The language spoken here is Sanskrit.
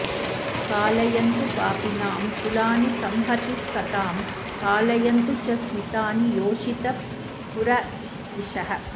कालयन्तु पापिनां कुलानि संहतीस्सतां पालयन्तु च स्मितानि योषितः पुरद्विषः